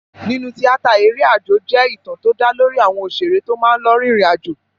Nínú tíátà, eré àjò jẹ́ ìtàn tó dá lórí àwọn òṣèré tó máa ń lọ rin ìrìn àjò.